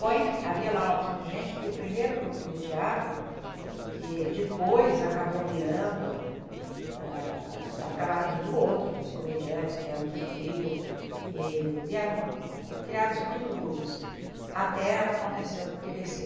Bom, enfim, havia lá uma porção de gente que o primeiro grupo de teatro, que depois acabou virando ah, acabaram vindo outros, os comediantes vieram do Rio, e vieram, criaram-se muitos grupos, até acontecer o TBC.